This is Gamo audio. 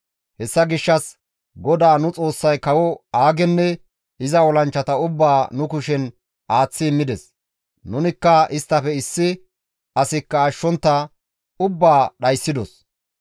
Hessa gishshas GODAA nu Xoossay kawo Aagenne iza olanchchata ubbaa nu kushen aaththi immides; nunikka isttafe issi asikka ashshontta ubbaa dhayssidos.